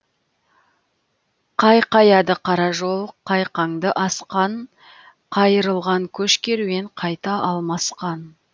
қайқаяды қара жол қайқаңды асқан қайырылған көш керуен қайта алмасқан